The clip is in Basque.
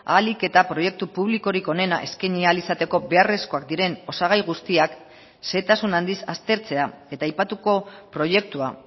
ahalik eta proiektu publikorik onena eskaini ahal izateko beharrezkoak diren osagai guztiak xehetasun handiz aztertzea eta aipatuko proiektua